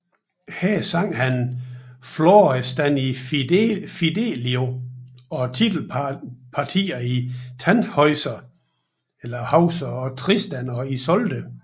Her sang han Florestan i Fidelio og titelpartierne i Tannhäuser og Tristan og Isolde